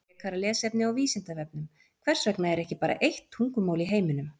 Frekara lesefni á Vísindavefnum Hvers vegna er ekki bara eitt tungumál í heiminum?